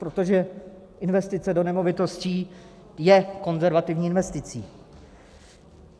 Protože investice do nemovitostí je konzervativní investicí.